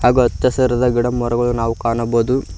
ಅಚ್ಚಾ ಹಸಿರಾದ ಗಿಡ ಮರಗಳು ನಾವು ಕಾಣಬೌದು.